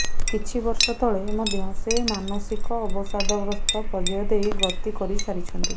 କିଛି ବର୍ଷ ତଳେ ମଧ୍ୟ ସେ ମାନସିକ ଅବସାଦଗ୍ରସ୍ତ ପର୍ଯ୍ୟାୟ ଦେଇ ଗତି କରିସାରିଛନ୍ତି